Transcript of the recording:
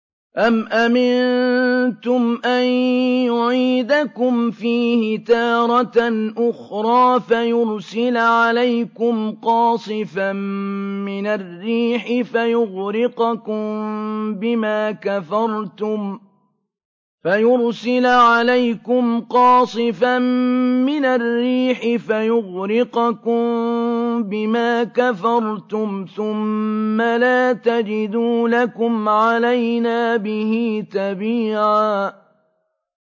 أَمْ أَمِنتُمْ أَن يُعِيدَكُمْ فِيهِ تَارَةً أُخْرَىٰ فَيُرْسِلَ عَلَيْكُمْ قَاصِفًا مِّنَ الرِّيحِ فَيُغْرِقَكُم بِمَا كَفَرْتُمْ ۙ ثُمَّ لَا تَجِدُوا لَكُمْ عَلَيْنَا بِهِ تَبِيعًا